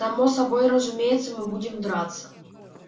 само собой разумеется мы будем драться